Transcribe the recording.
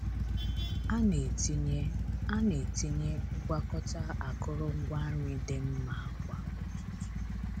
A na-etinye A na-etinye ngwakọta akụrụngwa nri dị mmma kwa ụtụtụ.